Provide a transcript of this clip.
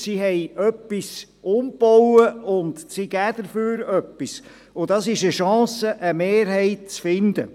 Sie haben etwas umgebaut, und sie geben dafür etwas, und das ist eine Chance, eine Mehrheit zu finden.